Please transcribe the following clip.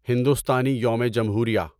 ہندوستانی یوم جمہوریہ